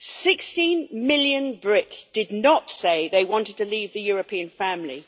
Sixteen million Brits did not say they wanted to leave the European family.